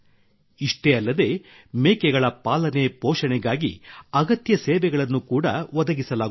ಇಷ್ಟೇ ಅಲ್ಲದೇ ಮೇಕೆಗಳ ಪಾಲನೆ ಪೋಷಣೆಗಾಗಿ ಅಗತ್ಯ ಸೇವೆಗಳನ್ನು ಕೂಡಾ ಒದಗಿಸಲಾಗುತ್ತದೆ